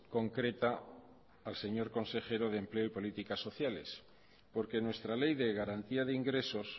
concreta al señor consejero de empleo y políticas sociales porque nuestra ley de garantía de ingresos